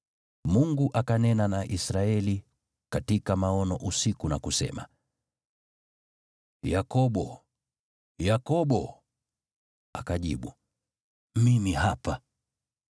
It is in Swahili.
Mungu akanena na Israeli katika maono usiku na kusema, “Yakobo! Yakobo!” Akajibu, “Mimi hapa.”